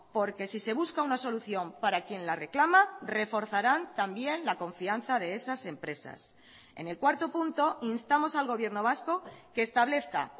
porque si se busca una solución para quien la reclama reforzarán también la confianza de esas empresas en el cuarto punto instamos al gobierno vasco que establezca